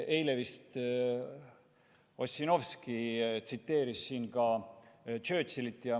Eile vist Ossinovski tsiteeris siin ka Churchillit.